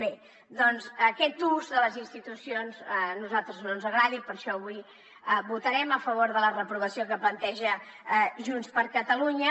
bé aquest ús de les institucions a nosaltres no ens agrada i per això avui votarem a favor de la reprovació que planteja junts per catalunya